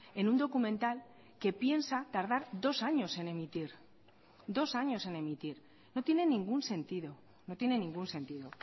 en un documental que piensa tardar dos años en emitir dos años en emitir no tiene ningún sentido no tiene ningún sentido